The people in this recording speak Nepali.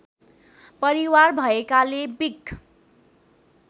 परिवार भएकाले बिक